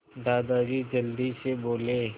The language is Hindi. दादाजी जल्दी से बोले